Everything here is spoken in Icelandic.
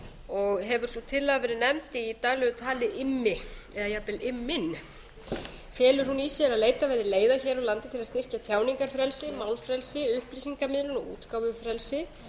og hefur sú tillaga verið nefnd í daglegu tali immi eða jafnvel imminn felur hún í sér að leitað verði leiða hér á landi til að styrkja tjáningarfrelsi málfrelsi upplýsingamiðlun og útgáfufrelsi